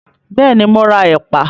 Bẹ́ẹ̀ ni, mọ ra ẹ̀pà